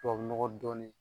nɔgɔ dɔɔnin